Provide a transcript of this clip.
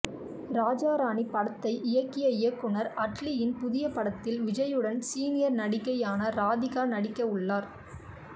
ராஜா ராணி படத்தை இயக்கிய இயக்குனர் அட்லியின் புதிய படத்தில் விஜய்யுடன் சீனியர் நடிகையான ராதிகா நடிக்க உள்ளார்